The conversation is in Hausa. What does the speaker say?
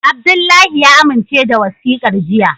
Abdullahi ya amince da wasikar jiya.